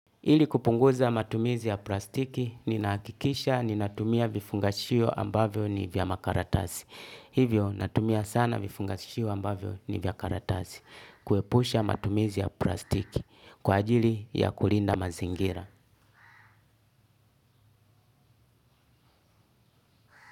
Ili kupunguza matumizi ya plastiki, ninahakikisha, ninatumia vifungashio ambavyo ni vya makaratasi. Hivyo, natumia sana vifungashio ambavyo ni vya karatasi. Kuepusha matumizi ya plastiki. Kwa ajili ya kulinda mazingira.